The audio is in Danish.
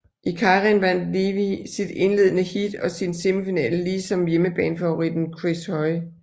I keirin vandt Levy sit indledende heat og sin semifinale lige som hjemmebanefavoritten Chris Hoy